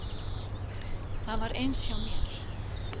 Það var eins hjá mér.